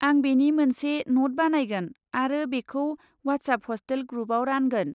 आं बेनि मोनसे न'ट बानायगोन आरो बेखौ वाट्सएप हस्टेल ग्रुपआव रानगोन।